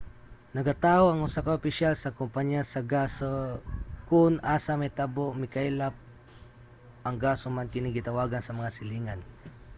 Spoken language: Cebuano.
nagataho ang usa ka opisyal sa kumpanya sa gas sa kon asa nahitabo ang mikaylap nga gas human kini gitawagan sa mga silingan